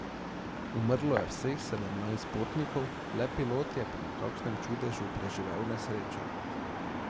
Umrlo je vseh sedemnajst potnikov, le pilot je po nekakšnem čudežu preživel nesrečo.